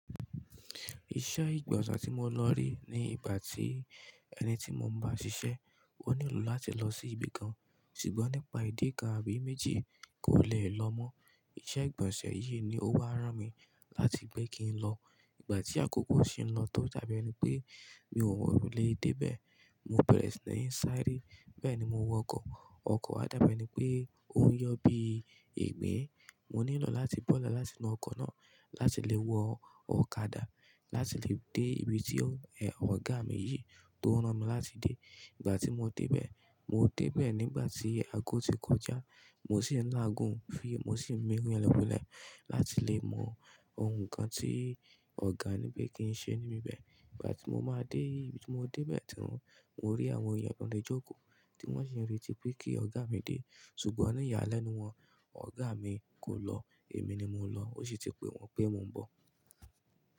Iṣẹ́ ìgbọ̀nsẹ̀ tí mo lọ rí ní ìgbà tí ẹni tí mo ń bá ṣiṣẹ́ ó nílò láti lọ sí ibi kan, ṣùgbọ́n nípa ìdí kan àbí méjì kò lè lọ mọ́. Iṣẹ́ ìgbọ̀nsẹ̀ yìí ni ó bá rán mi láti pé kí n lọ. Ìgbà tí àkókò ṣe ń lọ tó dàbí ẹni pé mi ò mọ ibi lè dé bẹ̀. Mo bẹ̀rẹ̀ sí ní sáré, bẹ́ẹ̀ ni mo wọ ọkọ̀. Ọkọ̀ á dábẹ́ ni pé ó ń yọ bí i ìgbín. Mo nílò láti bọ́lẹ̀ láti inú ọkò náà láti lè wọ ọ̀kadà láti lè dé ibi tí ọ̀gá mi yìí tó rán mi láti dé. Ìgbà tí mo dé bẹ̀, mo dé bẹ̀ nígbà tí aago ti kọjá. Mo sì ń lààgùǹ mo sì ń mi lọ́wọ́lẹ́ láti lè mọ ohun kan tí ọ̀gá ní pé kí n ṣe níbi bẹ̀. Ìgbà tí mo máa dé ibi tí mo dé bẹ̀ ti wọn, mo rí àwọn ènìyàn tó ń le jókòó tí wọ́n sì ń retí pé kí ọ̀gá mi dé. Ṣùgbọ́n ní ìyàlẹ́nú wọn, ọ̀gá mi kò lọ, èmi ni mo lọ. Ó sì ti pé wọ́n pé mo ń bọ̀.